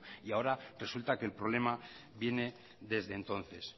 y ahora resulta que el problema viene desde entonces